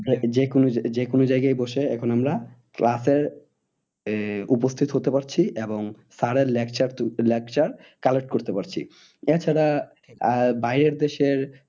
যে কোনো যে কোনো জায়গায় বসে এখন আমরা class এর আহ উপস্থিত হতে পারছি এবং sir এর lecture উম lecture collect করতে পারছি। এছাড়া আহ বাইরের দেশের